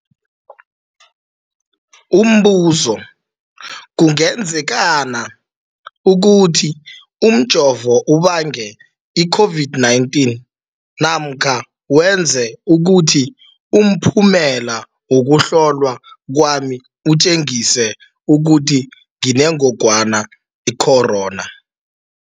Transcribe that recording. Umbuzo, kungenzekana ukuthi umjovo ubange i-COVID-19 namkha wenze ukuthi umphumela wokuhlolwa kwami utjengise ukuthi nginengogwana i-corona?